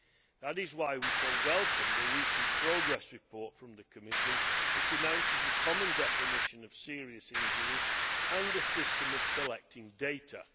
That is why we so welcome the recent progress report from the Commission which announces a common definition of serious injuries and a system of collecting data.